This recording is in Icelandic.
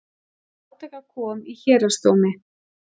Til átaka kom í héraðsdómi